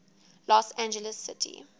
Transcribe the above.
los angeles city